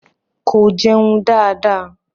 Ko jeun da da.